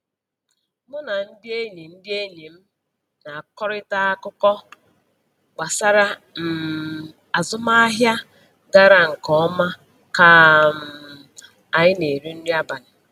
Mụ na ndị enyi ndị enyi m na-akọkarịta akụkọ gbasara um azụmahịa gara nke ọma ka um anyị na-eri nri abalị